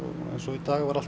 í dag var allt